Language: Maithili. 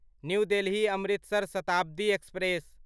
new Delhi Amritsar Shatabdi express